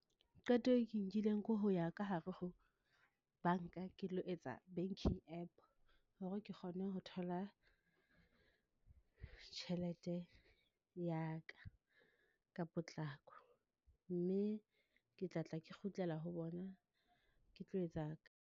Qeto e ke nkileng ko ho ya ka hare ho banka ke lo etsa banking app, hore ke kgone ho thola tjhelete ya ka ka potlako, mme ke tla tla kgutlela ho bona, ke tlo etsa.